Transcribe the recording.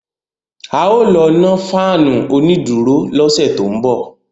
A ó lọ nọ́ fáànù onídùúró lọ́sẹ̀ tó ń bọ̀